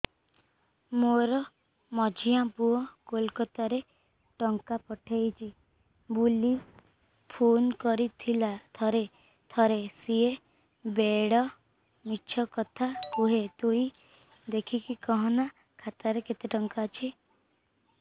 ମୋର ମଝିଆ ପୁଅ କୋଲକତା ରୁ ଟଙ୍କା ପଠେଇଚି ବୁଲି ଫୁନ କରିଥିଲା ଥରେ ଥରେ ସିଏ ବେଡେ ମିଛ କଥା କୁହେ ତୁଇ ଦେଖିକି କହନା ଖାତାରେ କେତ ଟଙ୍କା ଅଛି